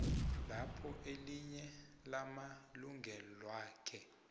lapho elinye lamalungelwakhe